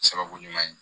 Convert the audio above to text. Sababu ɲuman ye